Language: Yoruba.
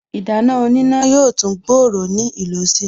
Ìdáná oníná yóò tún gbòòrò ní ìlò si